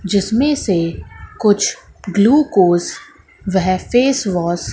जिसमें से कुछ ग्लूकोज वह फेसवॉश --